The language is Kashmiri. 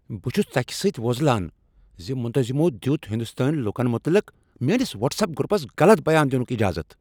بہ چھُس ژکھِ سۭتۍ ووزلان ز منتظمو دیت ہندوستٲنۍ لوٗکن متعلق میٲنس واٹس ایپ گروپس غلط بیان دِنُک اجازت۔